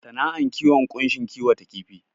Sana'ar kiwon ƙunshi kiwata kifi